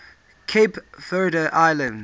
cape verde islands